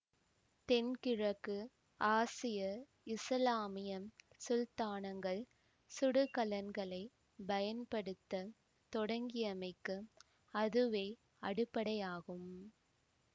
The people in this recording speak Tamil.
தென்கிழக்கு ஆசிய இசுலாமியம் சுல்தானகங்கள் சுடுகலன்களைப் பயன்படுத்த தொடங்கியமைக்கு அதுவே அடிப்படையாகும்